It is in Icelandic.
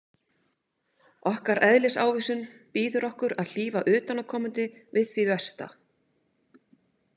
Okkar eðlisávísun býður okkur að hlífa utanaðkomandi við því versta.